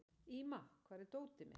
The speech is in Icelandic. Íma, hvar er dótið mitt?